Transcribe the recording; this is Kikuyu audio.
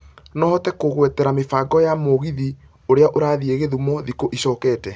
no ũhote kũngwetera mĩbango ya Mũgithi ũrĩa ũrathiĩ githumo thikũ ĩcokete